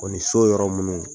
O ni so yɔrɔ minnu